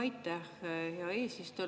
Aitäh, hea eesistuja!